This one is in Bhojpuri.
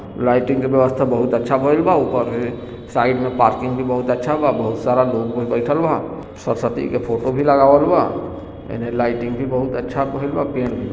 लाइटिंग की व्यवस्था बहुत अच्छा भइल बा ऊपर साइड में पार्किंग भी बहुत अच्छा बा बहुत सारा लोग भी बइठल बा सरस्वती जी के फोटो भी लागलवल बा एन्ने लाइटिंग भी बहुत अच्छा भइल बा --